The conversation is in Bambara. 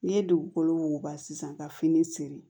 N'i ye dugukolo wuguba sisan ka fini siri